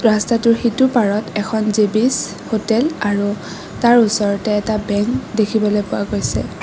ৰস্তাটোৰ সিটোপাৰত এখন জে_বি'চ হোটেল আৰু তাৰ ওচৰতে এটা বেংক দেখিবলৈ পোৱা গৈছে।